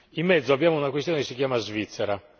In mezzo abbiamo una questione che si chiama Svizzera.